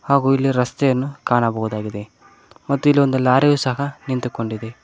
ಹಾಗು ಇಲ್ಲಿ ರಸ್ತೆಯನ್ನು ಕಾಣಬಹುದಾಗಿದೆ ಮತ್ತು ಇಲ್ಲಿ ಒಂದು ಲಾರಿಯು ಸಹ ನಿಂತುಕೊಂಡಿದೆ.